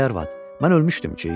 Ay arvad, mən ölmüşdüm ki?